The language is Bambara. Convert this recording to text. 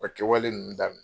O kɛwale ninnu daminɛ